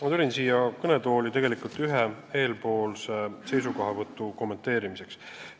Ma tulin siia kõnetooli tegelikult ühe eespool kõlanud seisukohavõtu kommenteerimiseks.